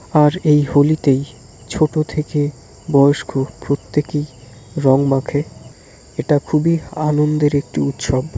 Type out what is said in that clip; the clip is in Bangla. আর এই হোলি -তেইছোট থেকেবয়স্ক প্রত্যেকেইরং মাখে এটা খুবই আনন্দের একটি উৎসব।